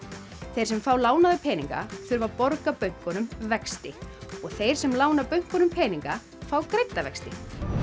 þeir sem fá lánaða peninga þurfa að borga bönkunum vexti og þeir sem lána bönkunum peninga fá greidda vexti